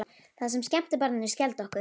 Það sem skemmti barninu skelfdi okkur.